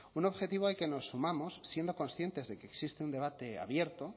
un objetivo al que nos sumamos siendo conscientes de que existe un debate abierto